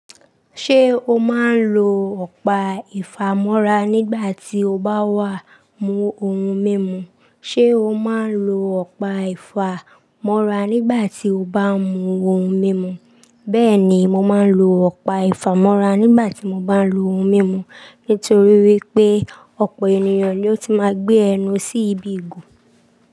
Ṣé o máa ń lo ọ̀pá ìfámọ́ra nígbà tí o bá wà mú ohun mímu? Ṣé o máa ń lo ọ̀pá ìfámọ́ra nígbà tí o bá mú ohun mímu? Bẹ́ẹ̀ ni, mo máa ń lo ọ̀pá ìfámọ́ra nígbà tí mo bá ń lo ohun mímu. Nítorí wípé ọ̀pọ̀ ènìyàn ni ó ti máa ń gbé ẹnu sí ibi ìgò.